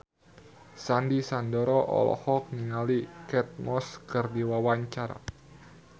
Sandy Sandoro olohok ningali Kate Moss keur diwawancara